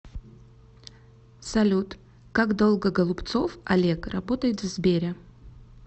салют как долго голубцов олег работает в сбере